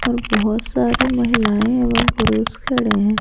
और बहुत सारी महिलाएं एवं पुरुष खड़े हैं।